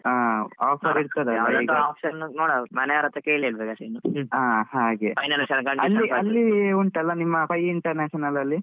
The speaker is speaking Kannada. Offer ಇರ್ತದೆ option ಮನೇವ್ರತ್ರ ಕೇಳಿಲ್ಲಾ . ಹಾ ಹಾಗೆ ಅಲ್ಲಿ ಅಲ್ಲಿ ಉಂಟಲ್ಲ ನಿಮ್ಮ Pai International ಅಲ್ಲಿ.